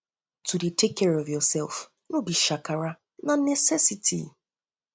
to dey care for yoursef no be shakara na necessity